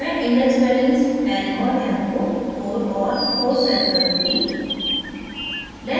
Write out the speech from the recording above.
मैं index values n और m को 4 और 4 set करुँगी